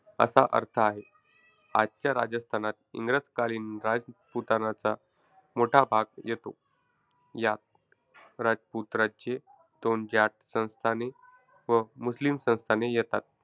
असा अर्थ आहे. आजच्या राजस्थानात इंग्रजकालीन राजपुतानाचा मोठा भाग येतो. यात राजपूत राज्ये, दोन जाट संस्थाने व मुस्लिम संस्थाने येतात.